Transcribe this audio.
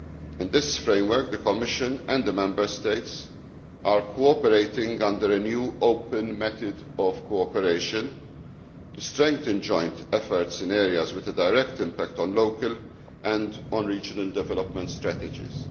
In this framework, the Commission and the Member States are cooperating under a new open method of cooperation to strengthen joint efforts in areas with a direct impact on local and regional development strategies.